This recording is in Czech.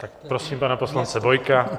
Tak prosím pana poslance Bojka.